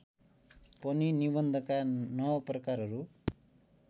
पनि निबन्धका नवप्रकारहरू